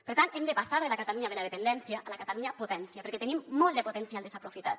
per tant hem de passar de la catalunya de la dependència a la catalunya potència perquè tenim molt de potencial desaprofitat